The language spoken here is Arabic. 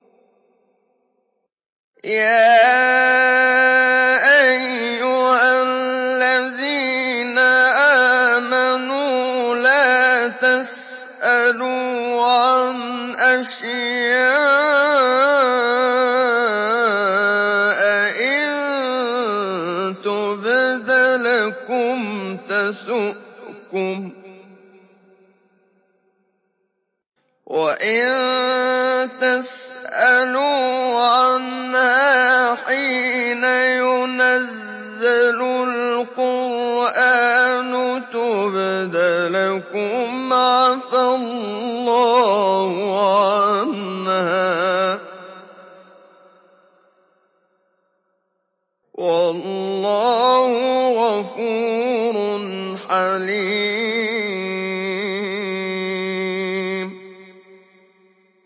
يَا أَيُّهَا الَّذِينَ آمَنُوا لَا تَسْأَلُوا عَنْ أَشْيَاءَ إِن تُبْدَ لَكُمْ تَسُؤْكُمْ وَإِن تَسْأَلُوا عَنْهَا حِينَ يُنَزَّلُ الْقُرْآنُ تُبْدَ لَكُمْ عَفَا اللَّهُ عَنْهَا ۗ وَاللَّهُ غَفُورٌ حَلِيمٌ